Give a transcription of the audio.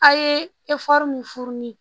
A' ye min furu ni